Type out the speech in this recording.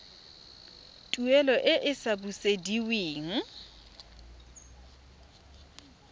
tuelo e e sa busediweng